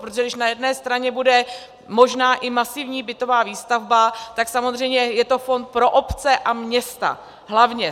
Protože když na jedné straně bude možná i masivní bytová výstavba, tak samozřejmě je to fond pro obce a města hlavně.